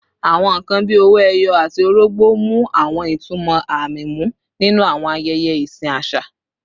Awọn nkan bii owo eyi ati orogbo mu awọn itumọ aami mu ninu awọn ayẹyẹ isin aṣa